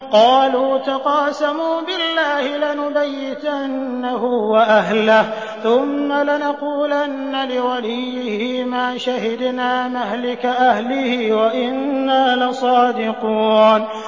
قَالُوا تَقَاسَمُوا بِاللَّهِ لَنُبَيِّتَنَّهُ وَأَهْلَهُ ثُمَّ لَنَقُولَنَّ لِوَلِيِّهِ مَا شَهِدْنَا مَهْلِكَ أَهْلِهِ وَإِنَّا لَصَادِقُونَ